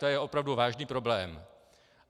To je opravdu vážný problém.